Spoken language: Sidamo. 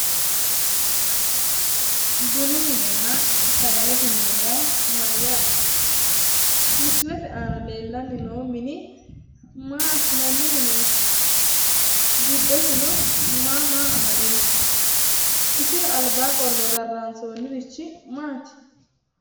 Bunu minenna sagalete mine yaa mayyaate? Misilete aana leellanni noo mini maa assinanni mineeti? Giddosino maa maa amadino? Isira albaa qolle rarraansoonnirichi maati?